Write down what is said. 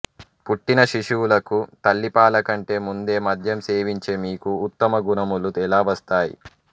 పుట్టిన శిశువులకు తల్లి పాలకంటే ముందే మద్యం సేవించే మీకు ఉత్తమ గుణములు ఎలా వస్తాయి